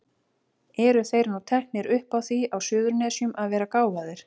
Eru þeir nú teknir upp á því á Suðurnesjum að vera gáfaðir?